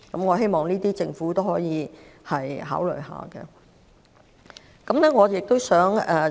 我希望政府可以考慮這些措施。